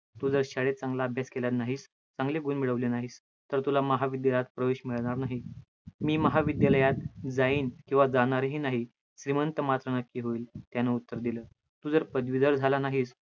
तु जर शाळेत चांगला अभ्यास केला नाहीस, चांगले गुण मिळवले नाहीस, तर तुला महाविद्यालयात प्रवेश मिळणार नाही. मी महाविद्यालयात जाईन किंवा जाणारही नाही, श्रीमंत माणूस नक्की होईन, त्यानं उत्तर दिलं. तु जर पदवीधर झाला नाहीस, तर